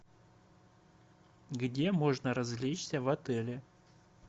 где можно развлечься в отеле